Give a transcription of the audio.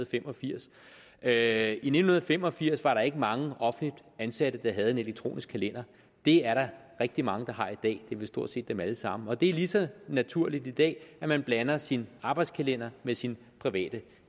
fem og firs at i nitten fem og firs var der ikke mange offentligt ansatte der havde en elektronisk kalender det er der rigtig mange der har i det er vel stort set dem alle sammen og det er lige så naturligt i dag at man blander sin arbejdskalender med sin private